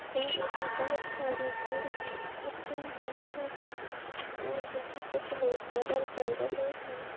और यहा बहुत सारी भीड़ भी खट्टी हुई है और यहा कुछ लोग पैदल चल रहे है।